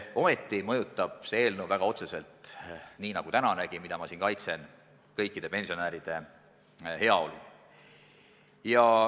Ometi mõjutab see eelnõu väga otseselt – nii nagu tänanegi, mida ma siin kaitsen – kõikide pensionäride heaolu.